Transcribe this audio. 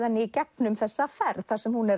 henni í gegnum þessa ferð þar sem hún